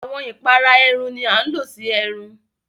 Awọn ìpàrà ẹ̀rùn ni àń ló sí ẹ̀rùn.